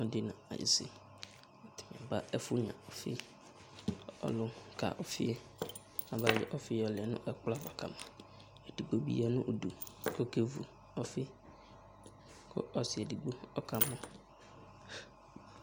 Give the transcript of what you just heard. Ɔlɔdɩ n'ayɩsɩ aba ɛfʋ nyuə ɔfɩ Ɔlʋ ka ɔfɩ yɛ abayɔ ɔfɩ yɔlɛ n'ɛkplɔ ava kama; edigbo bɩ ya nʋ udu k'oke vu ɔfɩ, kʋ ɔsɩ edigbo ɔka mɔ